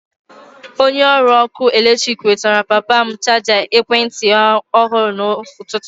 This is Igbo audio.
Onye ọrụ ọkụ eletrik wetatara papa m chaja ekwentị ọhụrụ n'ụtụtụ.